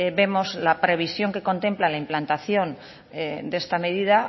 vemos la previsión que contempla la implantación de esta medida